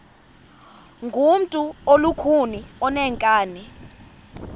ngumntu olukhuni oneenkani